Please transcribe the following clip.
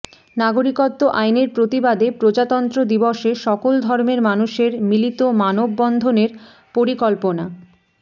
নাগরিকত্ব আইনের প্রতিবাদে প্রজাতন্ত্র দিবসে সকল ধর্মের মানুষের মিলত মানববন্ধনের পরিকল্পনা